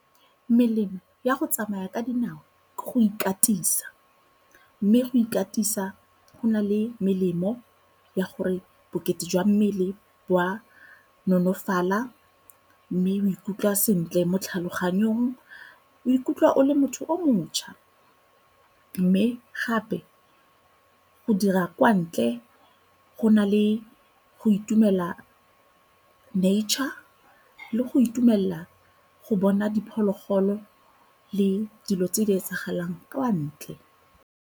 Melemo ya go tsamaya ka dinao ke go ikatisa, mme go ikatisa go na le melemo ya gore bokete jwa mmele bo a nonofala mme o ikutlwa sentle mo tlhaloganyong, o ikutlwa o le motho o mošwa. Mme gape go dira kwa ntle go na le go itumela nature le go itumelela go bona diphologolo le dilo tse di etsagalang kwa ntle.